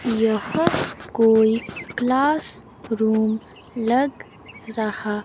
यह कोई classroom लग रहा--